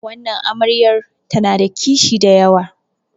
wannan amaryar tana da kishi da yawa